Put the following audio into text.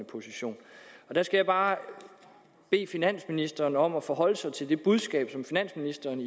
position og der skal jeg bare bede finansministeren om at forholde sig til det budskab som finansministeren